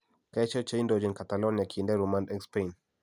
kaesho che indochin Catalonia kinde rumand en Spain